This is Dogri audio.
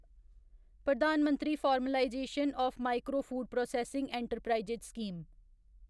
Pradhan Mantri formalisation of micro food processing enterprises scheme